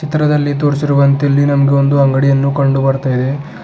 ಚಿತ್ರದಲ್ಲಿ ತೋರಿಸಿರುವಂತೆ ಇಲ್ಲಿ ನಮಗೆ ಒಂದು ಅಂಗಡಿಯನ್ನು ಕಂಡು ಬರ್ತಾ ಇದೆ.